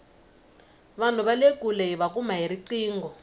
vanhu vale kule hiva kuma hi riqingho